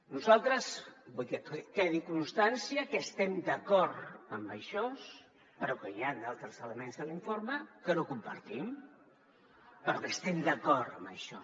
nosaltres vull que quedi constància que estem d’acord amb això però que hi han altres elements a l’informe que no compartim però que estem d’acord amb això